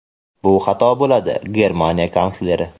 bu xato bo‘ladi – Germaniya kansleri.